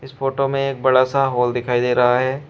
इस फोटो में एक बड़ा सा हॉल दिखाई दे रहा है।